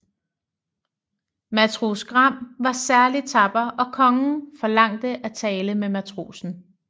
Matros Gram var særlig tapper og kongen forlangte at tale med matrosen